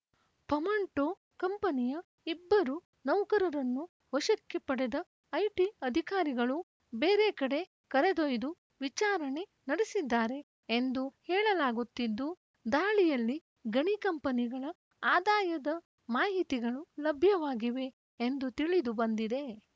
ಫಮಂಟೋ ಕಂಪನಿಯ ಇಬ್ಬರು ನೌಕರರನ್ನು ವಶಕ್ಕೆ ಪಡೆದ ಐಟಿ ಅಧಿಕಾರಿಗಳು ಬೇರೆ ಕಡೆ ಕರೆದೊಯ್ದು ವಿಚಾರಣೆ ನಡೆಸಿದ್ದಾರೆ ಎಂದು ಹೇಳಲಾಗುತ್ತಿದ್ದು ದಾಳಿಯಲ್ಲಿ ಗಣಿ ಕಂಪನಿಗಳ ಆದಾಯದ ಮಾಹಿತಿಗಳು ಲಭ್ಯವಾಗಿವೆ ಎಂದು ತಿಳಿದು ಬಂದಿದೆ